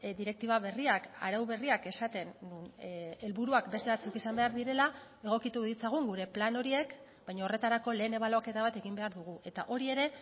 direktiba berriak arau berriak esaten helburuak beste batzuk izan behar direla egokitu ditzagun gure plan horiek baina horretarako lehen ebaluaketa bat egin behar dugu eta hori ere